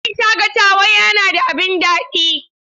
Wurin shakatawa yana da abin naɗi.